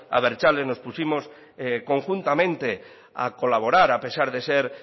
abertzales nos pusimos conjuntamente a colaborar a pesar de ser